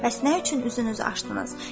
Bəs nə üçün üzünüzü açdınız?